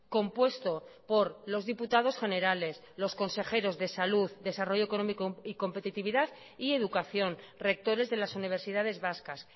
compuesto por los diputados generales los consejeros de salud desarrollo económico y competitividad y educación rectores de las universidades vascas